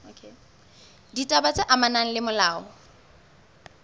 ditaba tse amanang le molao